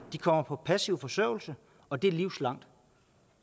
kommer på passiv forsørgelse og det er livsvarigt